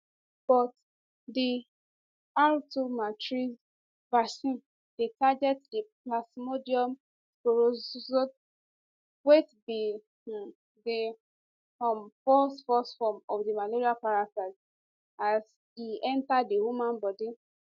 but di r21matrixm vaccine dey target di plasmodium sporozoite wey be um di um first first form of di malaria parasite as e enta di human body